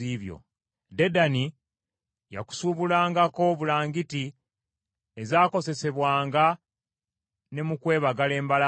“ ‘Dedani yakusuubulangako bulangiti ezakozesebwanga ne mu kwebagala embalaasi.